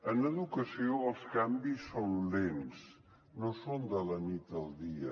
en educació els canvis són lents no són de la nit al dia